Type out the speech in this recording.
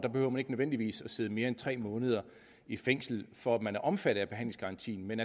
ikke nødvendigvis behøver at sidde mere end tre måneder i fængsel for at man er omfattet af behandlingsgarantien men